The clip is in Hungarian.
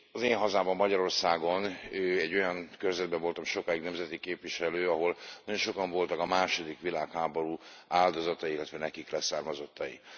Én hazámban, Magyarországon egy olyan körzetben voltam sokáig nemzeti képviselő, ahol nagyon sokan voltak a második világháború áldozatai, illetve leszármazottaik.